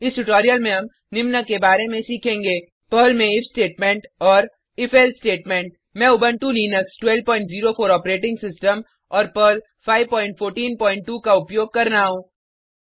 इस ट्यूटोरियल में हम निम्न के बारे में सीखेंगे पर्ल में इफ स्टेटमेंट और if एल्से स्टेटमेंट मैं उबंटू लिनक्स 1204 ऑपरेटिंग सिस्टम और पर्ल पर्ल 5142 का उपयोग कर रहा हूँ